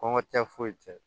Kɔnkɔ tɛ foyi tɛ